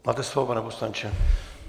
Máte slovo, pane poslanče.